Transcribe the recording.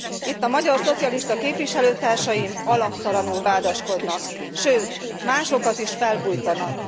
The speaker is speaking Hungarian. Itt a magyar szocialista képviselőtársaim alaptalanul vádaskodnak, sőt másokat is felbujtanak.